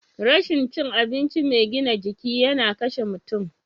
Rashin cin abinci mai gina jiki yana kashe mutum.